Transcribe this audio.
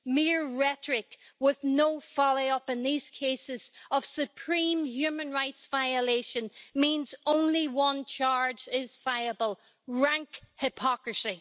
Mere rhetoric with no follow-up in these cases of supreme human rights violation means only one charge is viable rank hypocrisy.